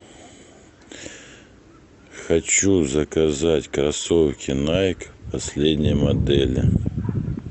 хочу заказать кроссовки найк последней модели